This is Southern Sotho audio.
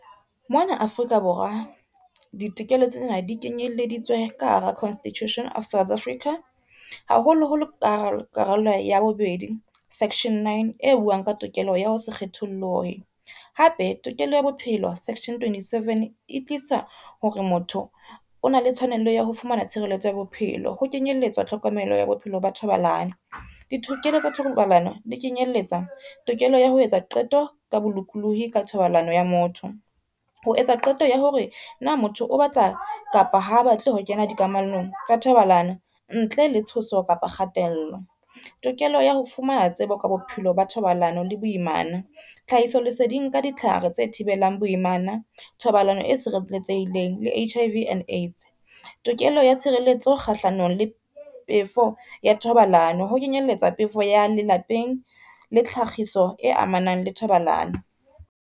Mona Afrika Borwa ditokelo tsena di kenyelleditswe ka hara Constitution of South Africa, haholoholo karolo ya bobedi section-9 e buang ka tokelo ya ho se kgethollohe, hape tokelo ya bophelo section-27 e tlisa hore motho o na le tshwanello ya ho fumana tshireletso ya bophelo ho kenyelletswa tlhokomelo ya bophelo ba thobalano. Ditokelo tsa thobalano di kenyelletsa tokelo ya ho etsa qeto ka bolokolohi ka thobalano ya motho, ho etsa qeto ya hore na motho o batla kapa ha batle ho kena di kamanong tsa thobalano ntle le tshoso kapa kgatello. Tokelo ya ho fumana tsebo ka bophelo ba thobalano le boimana, tlhahiso leseding ka ditlhare tse thibelang boimana, thobalano e sireletsehileng le H_I_V and AIDS. Tokelo ya tshireletso kgahlano le pefo ya thobalano ho kenyelletswa pefo ya lelapeng le tlhagiso e amanang le thobalano.